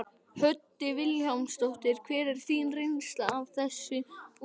Hödd Vilhjálmsdóttir: Hver er þín reynsla af þessu úrræði?